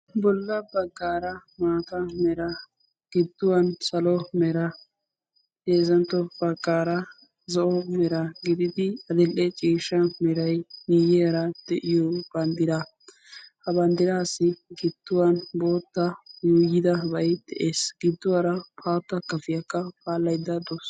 bolla baggaara maata mera gidduwan salo mera heezzantto baggaara zo'o mera gididi adil'e ciishsha meray miyyiyara de'iyo banddiraa. ha banddiraassi gidduwan bootta yuuyyidabay de'es. gidduwara haatta kafiyakka paallayidda de'awusu.